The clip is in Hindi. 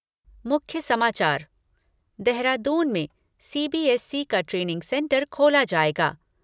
मुख्य समाचार देहरादून में सीबीएसई का ट्रेनिंग सेंटर खोला जाएगा।